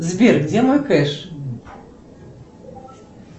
сбер где мой кэш